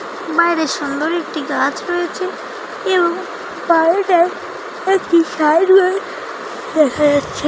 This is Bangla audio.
বাইরে সুন্দর একটি গাছ রয়েছে এবং বাইরেটায় একটি সাইড দেখা যাচ্ছে।